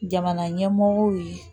Jamana ɲɛmɔgɔw ye